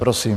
Prosím.